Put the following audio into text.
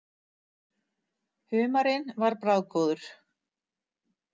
Humarinn var bragðgóður.